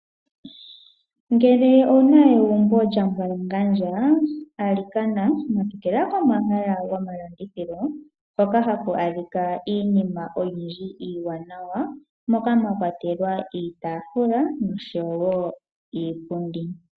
Ngele owuna egumbo lyambwalangandja alikana matukila komahala hoka haku adhika iinima oyindji iiwanawa, moka mwakwatelwa iitaafula noshowoo iipundi.